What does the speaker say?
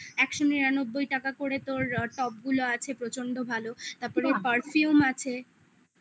একশো নিরানব্বই টাকা করে তোর top গুলো আছে প্রচন্ড ভালো তারপরে perfume আছে